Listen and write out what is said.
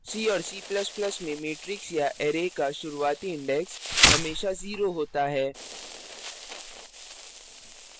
c और c ++ में matrix या array का शुरूवाती index हमेशा 0 होता है